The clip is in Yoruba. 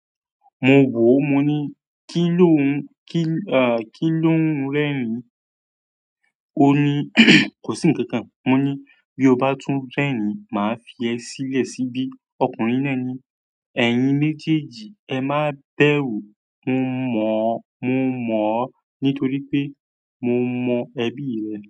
Mo wò ó, mo ní kí ló ń, kí a, kí ló ń rẹ́rin? Ó ní kò sí ǹkankan. Mo ní bí o bá tún rẹ́rin, màá fi ẹ sílẹ̀ síbí. Ọkùnrin náà ní, "Ẹ̀yin méjèèjì, ẹ má bẹ́ru". Mò ń mọ̀ ó, mo mọ̀ ó nítorí pé mo mọ ẹbí rẹ̀